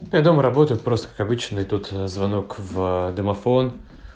я дома работаю просто как обычно и тут звонок в домофон